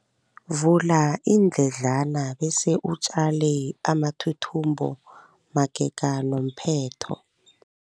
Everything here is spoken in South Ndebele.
Vula iindledlana bese utjale amathuthumbo magega nomphetho.